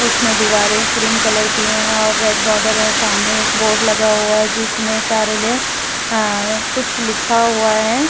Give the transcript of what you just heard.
उसमें दीवारे cream colour की हैं और रेड बॉर्डर है। सामने एक बोर्ड लगा हुआ है। जिसमें कार्यालय आ कुछ लिखा हुआ है।